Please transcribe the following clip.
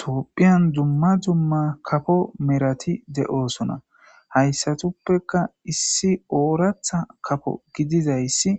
toopphiyan dumma dumma kafo merati de7oosona hayssatuppeka issi ooratha kafo gidizayssi